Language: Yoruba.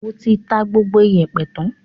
O ti ta gbogbo ìyẹ̀pẹ̀ tán?